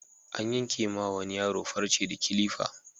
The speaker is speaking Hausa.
An yanke wa wani yaro farce da kilifa.